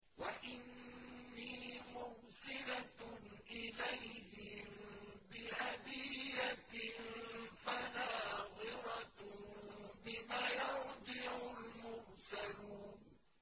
وَإِنِّي مُرْسِلَةٌ إِلَيْهِم بِهَدِيَّةٍ فَنَاظِرَةٌ بِمَ يَرْجِعُ الْمُرْسَلُونَ